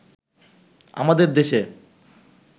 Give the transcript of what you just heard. আমাদের দেশে